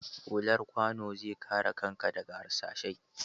Hullar kwanu zai kare kanka daga harsashai.